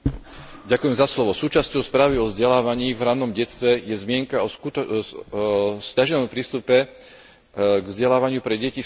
Súčasťou správy o vzdelávaní v ranom detstve je zmienka o sťaženom prístupe k vzdelávaniu pre deti z chudobnejších rodín.